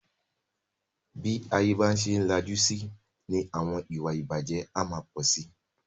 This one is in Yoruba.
Bí ayé bá ṣe ń lajú síi ni àwọn ìwà ìbàjé a máa pọ̀ sí.